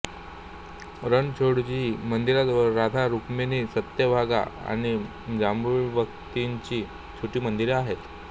रणछोडजी मंदिराजवळ राधा रुक्मिणी सत्यभामा आणि जाम्बुवंतीची छोटी मंदिरे आहेत